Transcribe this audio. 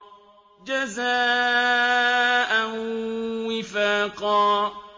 جَزَاءً وِفَاقًا